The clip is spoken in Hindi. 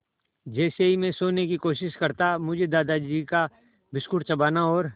जैसे ही मैं सोने की कोशिश करता मुझे दादाजी का बिस्कुट चबाना और